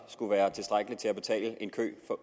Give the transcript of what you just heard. skulle være tilstrækkeligt til at betale en kø